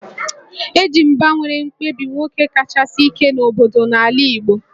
E ji mgba were kpebie nwoke kachasi ike n'obodo n'ala Igbo